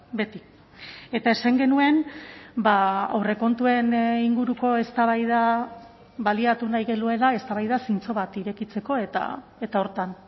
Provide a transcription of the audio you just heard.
beti eta esan genuen aurrekontuen inguruko eztabaida baliatu nahi genuela eztabaida zintzo bat irekitzeko eta horretan